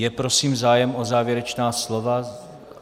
Je prosím zájem o závěrečná slova?